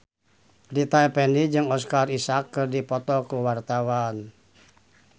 Rita Effendy jeung Oscar Isaac keur dipoto ku wartawan